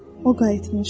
o qayıtmışdır.